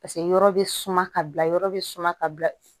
Paseke yɔrɔ bɛ suma ka bila yɔrɔ bɛ suma ka bila